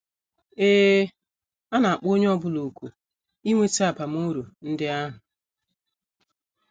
Ee, a na - akpọ onye ọ bụla òkù inweta abamuru ndị ahụ!